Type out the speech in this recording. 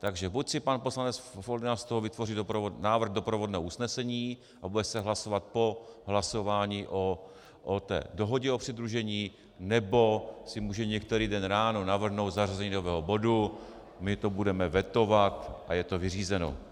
Takže buď si pan poslanec Foldyna z toho vytvoří návrh doprovodného usnesení a bude se hlasovat po hlasování o té dohodě o přidružení, nebo si může některý den ráno navrhnout zařazení nového bodu, my to budeme vetovat a je to vyřízeno.